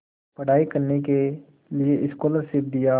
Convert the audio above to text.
पढ़ाई करने के लिए स्कॉलरशिप दिया